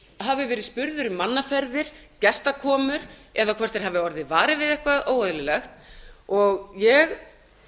hafi verið spurður um mannaferðir gestakomur eða hvort þeir hafi orðið varir við eitthvað óeðlilegt og ég